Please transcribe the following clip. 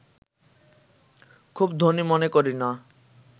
খুব ধনী মনে করি না